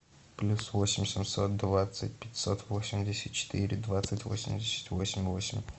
плюс восемь семьсот двадцать пятьсот восемьдесят четыре двадцать восемьдесят восемь восемь